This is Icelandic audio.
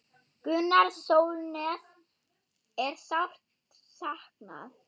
Gunnars Sólnes er sárt saknað.